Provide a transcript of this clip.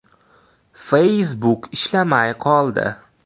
Facebook ishlamay qoldi.